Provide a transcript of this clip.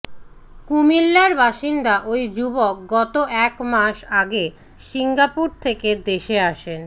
কুমিল্লার বাসিন্দা ওই যুবক গত এক মাস আগে সিঙ্গাপুর থেকে দেশে আসেন